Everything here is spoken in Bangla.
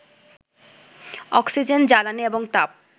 অক্সিজেন, জ্বালানী এবং তাপ